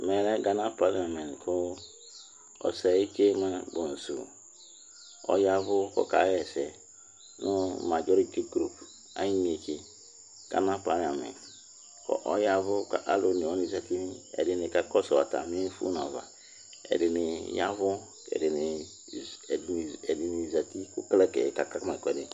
mɛ Ghana Parliament kʋ Osei Kyei Mensah Bonsʋ ɔyavʋ kʋ ɔka yɛsɛ nʋ majority group ayi inetsɛ, Ghana Parliament kʋ ɔyavʋ kʋ alʋ ɔnɛ wani zati kakɔsʋ atami phonʋ aɣa, ɛdini yavʋ ɛdini zati kʋ clerkɛ ka kama ɛkʋɛdi